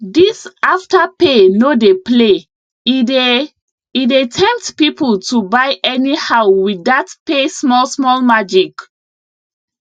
this afterpay no dey play e dey e dey temptpeople to buy anyhow with dat pay smallsmall magic